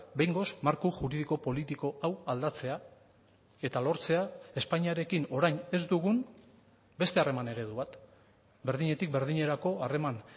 behingoz marko juridiko politiko hau aldatzea eta lortzea espainiarekin orain ez dugun beste harreman eredu bat berdinetik berdinerako harreman